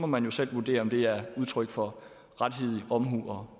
man jo selv vurdere om det er udtryk for rettidig omhu og